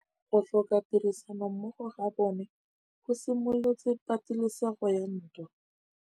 Go tlhoka tirsanommogo ga bone go simolotse patêlêsêgô ya ntwa.